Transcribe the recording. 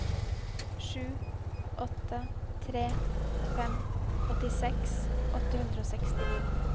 sju åtte tre fem åttiseks åtte hundre og sekstini